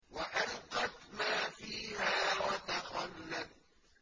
وَأَلْقَتْ مَا فِيهَا وَتَخَلَّتْ